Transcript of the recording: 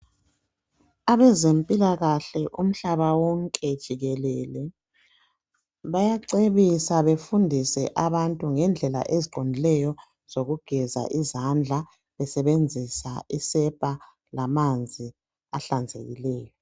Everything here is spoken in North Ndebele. Abezempilakahle umhlaba wonke jikelele, bayacebisa befundise abantu ngendlela eziqondileyo zokugeza izandla, besebenzisa isepa lamanzi ahlanzekileyo.